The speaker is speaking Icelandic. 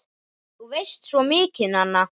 Þú veist svo mikið, Nanna!